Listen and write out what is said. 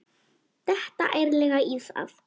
Detta ærlega í það.